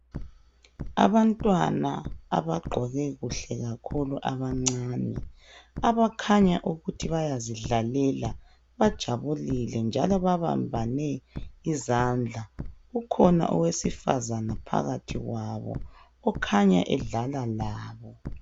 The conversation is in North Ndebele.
Abantwana abagqoke kuhle kakhulu abancane abakhanya ukuthi bayazidlalela bajabulile njalo babambane izandla ukhona owesifazane phakathi kwabo ukhanya edlala labo